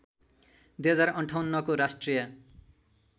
२०५८ को राष्ट्रिय